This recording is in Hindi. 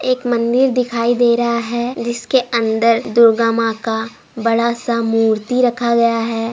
एक मंदिर दिखाई दे रहा है जिसके अंदर दुर्गा माँ का बड़ा सा मूर्ति रखा गया है।